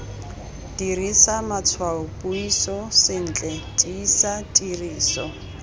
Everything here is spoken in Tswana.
dirisa matshwaopuiso sentle tiisa tiriso